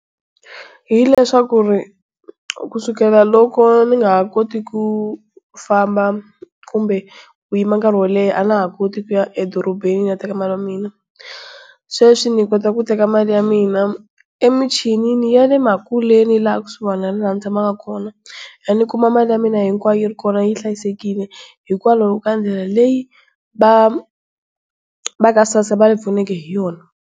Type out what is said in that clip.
Hileswaku kusukela loko ni nga ha koti ku famba kumbe ku yima nkarhi wo leha a ndza ha koti ku ya edorobeni ni ya teka mali ya mina. Sweswi ni kota ku teka mali ya mina emichini ya le makuleni la kusuhani na la ni tshamaka kona ya ni kuma mali ya mina hinkwayo yi ri kona yi hlayisekile hikwalaho ka ndlela leyi va ka SASSA va hi pfuneke hi yona.